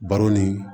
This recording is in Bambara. Baro ni